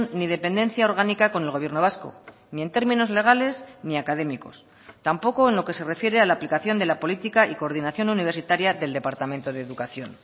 ni dependencia orgánica con el gobierno vasco ni en términos legales ni académicos tampoco en lo que se refiere a la aplicación de la política y coordinación universitaria del departamento de educación